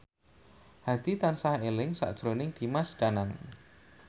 Hadi tansah eling sakjroning Dimas Danang